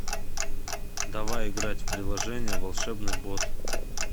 давай играть в приложение волшебный бот